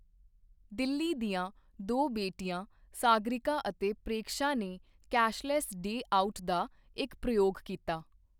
ਦਿੱਲੀ ਦੀਆਂ ਦੋ ਬੇਟੀਆਂ ਸਾਗਰਿਕਾ ਅਤੇ ਪ੍ਰੇਕਸ਼ਾ ਨੇ ਕੈਸ਼ਲੈੱਸ ਡੇ ਆਊਟ ਦਾ ਇੱਕ ਪ੍ਰਯੋਗ ਕੀਤਾ।